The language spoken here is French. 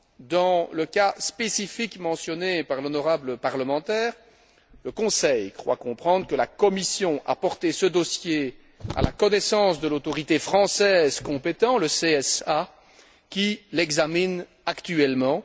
Dans le cas spécifique mentionné par l'honorable parlementaire, le Conseil croit comprendre que la Commission a porté ce dossier à la connaissance de l'autorité française compétente, le CSA, qui l'examine actuellement.